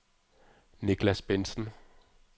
Niklas Bentzen